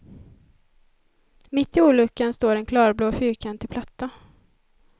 Mitt i olyckan står en klarblå fyrkantig platta.